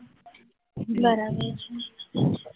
બરાબર છે.